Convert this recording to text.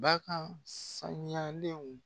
Bakan sanuyalenw